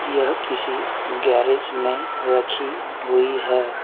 यह किसी गैरेज में रखी हुई है।